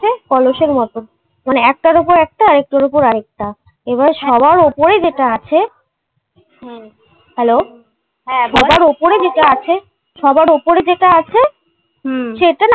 কলসের মতো মানে একটার উপর একটা আরেকটার উপর আরেকটা এবার সবার উপরে যেটা আছে হুম হ্যালো এবার সবার উপরে যেটা আছে সবার উপরে যেটা আছে সেটা না